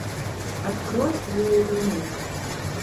открой лоудермилк